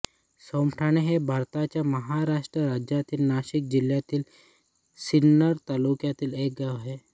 सोमठाणे हे भारताच्या महाराष्ट्र राज्यातील नाशिक जिल्ह्यातील सिन्नर तालुक्यातील एक गाव आहे